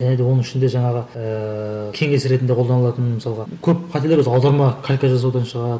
және де оның ішінде жаңағы ыыы кеңес ретінде қолданылатын мысалға көп қателер осы аударма калька жазудан шығады